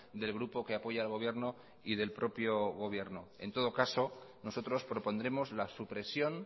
del grupo que apoya al gobierno y del propio gobierno en todo caso nosotros propondremos la supresión